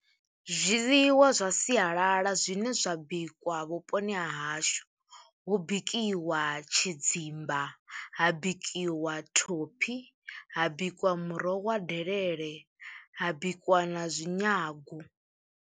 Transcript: Zwiḽiwa zwa sialala zwine zwa bikwa vhuponi ha hashu hu bikiwa tshidzimba, ha bikiwa thophi, ha bikwa muroho wa delele, ha bikwa na zwinyagu.